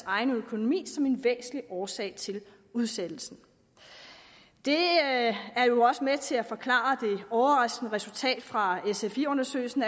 egen økonomi som en væsentlig årsag til udsættelsen det er jo også med til at forklare det overraskende resultat fra sfi undersøgelsen